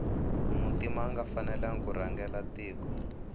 muntima anga fanelangi kurhangela tiko